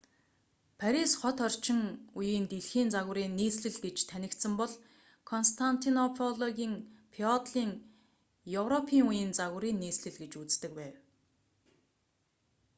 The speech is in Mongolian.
парис хот орчин үеийн дэлхийн загварын нийслэл гэж танигдсан бол константинополийг феодалын европын үеийн загварын нийслэл гэж үздэг байв